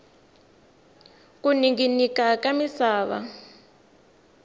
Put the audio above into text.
ku ninginika ka misava